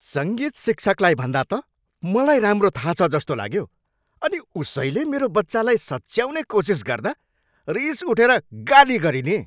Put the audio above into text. सङ्गीत शिक्षकलाई भन्दा त मलाई राम्रो थाहा छ जस्तो लाग्यो अनि उसैले मेरो बच्चालाई सच्याउने कोसिस गर्दा रिस उठेर गाली गरिदिएँ।